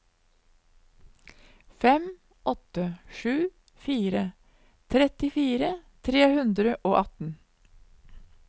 fem åtte sju fire trettifire tre hundre og atten